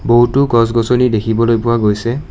বহুতো গছ-গছনি দেখিবলৈ পোৱা গৈছে।